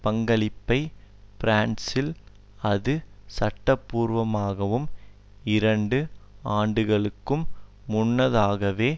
பங்களிப்பை பிரான்சில் அது சட்டபூர்வமாகும் இரண்டு ஆண்டுகளுக்கும் முன்னதாகவே